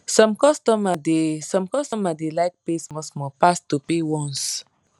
some customer da some customer da like pay small small pass to pay once